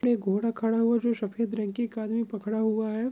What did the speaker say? पर एक घोडा खड़ा हुआ है जो सफ़ेद रंग की एक आदमी पकड़ा हुआ है।